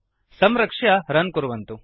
संरक्ष्य रन् कुर्वन्तु